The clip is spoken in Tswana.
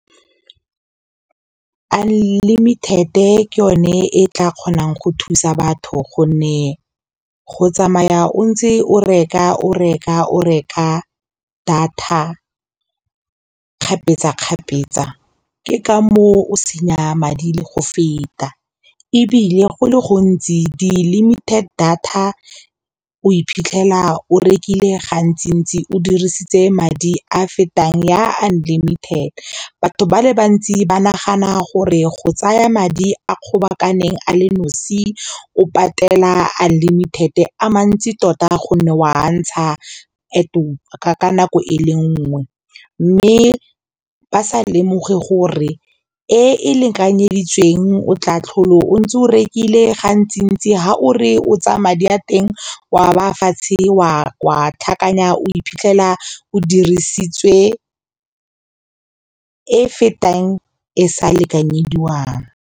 Unlimited ke yone e tla kgonang go thusa batho gonne go tsamaya o ntse o reka data kgapetsa kgapetsa ke ka moo o senya madi le go feta ebile go le gontsi di limited data o iphitlhela o rekile gantsi ntsi o dirisitse madi a fetang ya unlimited. Batho ba le bantsi ba nagana gore go tsaya madi a kgobakaneng a le nosi o patela unlimited a mantsi tota gonne wa ntsha ka nako e le nngwe mme ba sa lemoge gore e e lekanyeditsweng o tla tlhole o ntse o rekile ga ntsi ha o re o tsaya madi a teng wa ba fatshe wa tlhakanya o iphitlhela o dirisitswe e fetang e sa lekanyediwang.